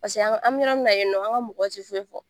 Paseke an ka, an bi yɔrɔ mun na yen nɔ an ka mɔgɔ ti foyi fɔ.